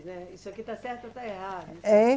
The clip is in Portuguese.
Né. Isso aqui está certo ou está errado. É